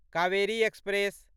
Kaveri express